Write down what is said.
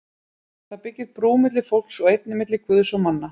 Það byggir brú milli fólks og einnig milli Guðs og manna.